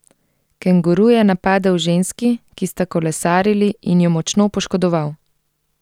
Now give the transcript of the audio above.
Kenguru je napadel ženski, ki sta kolesarili, in ju močno poškodoval.